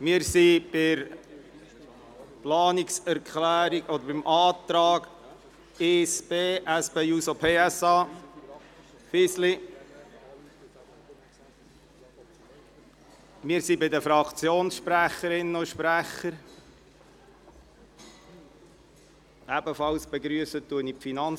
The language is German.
Wir sind bei der Planungserklärung, respektive dem Antrag 1b, SP-JUSO-PSA, Fisli, verblieben, zu dem sich nun die Fraktionssprecherinnen und -sprecher äussern können.